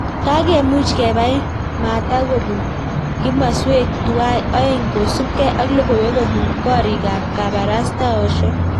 Kakemuch kebai maatak kobun kimaswek tuwai oeng ksupkei ak logoiwek kobuun koriik ap kaparastaoshek